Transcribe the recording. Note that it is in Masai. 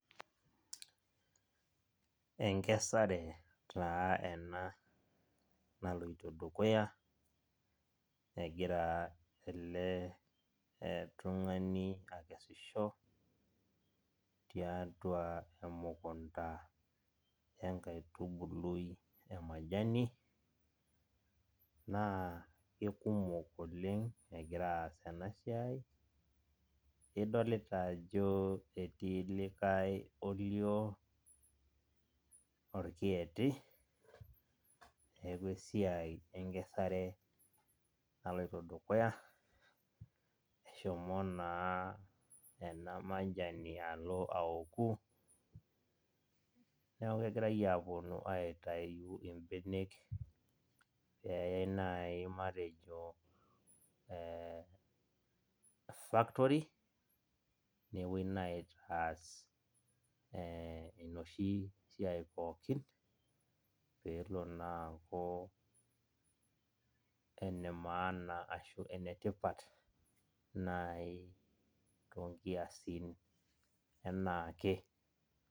Enkesare taa ena naloito dukuya, egira ele tung'ani akesisho tiatua emukunda enkaitubului emajani, naa kekumok oleng egira aas enasiai, idolita ajo etii likae olio orkieti, neeku esiai enkesare naloito dukuya, neshomo naa ena majani alo aoku, neeku kegirai aponu aitayu ibenek peyai nai matejo factory, nepoi nai aitaas enoshi siai pookin, pelo naa aku ene maana ashu enetipat nai tonkiasin enaake.